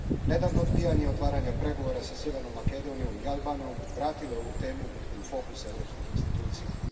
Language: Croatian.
Nedavno odbijanje otvaranja pregovora sa Sjevernom Makedonijom i Albanijom vratilo je ovu temu u fokus europskih institucija.